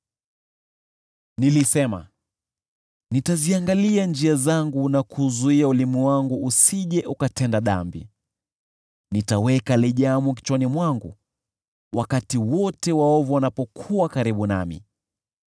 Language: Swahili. Nilisema, “Nitaziangalia njia zangu na kuuzuia ulimi wangu usije ukatenda dhambi; nitaweka lijamu kinywani mwangu wakati wote waovu wanapokuwa karibu nami.”